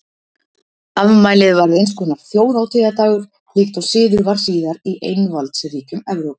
Afmælið varð einskonar þjóðhátíðardagur líkt og siður var síðar í einvaldsríkjum Evrópu.